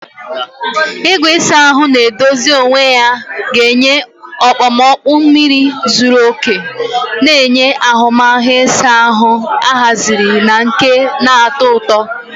Igwe ịsa ahụ na-edozi onwe ya ga-enye okpomọkụ mmiri zuru oke, na-enye ahụmahụ ịsa ahụ ahaziri na nke na-atọ ụtọ.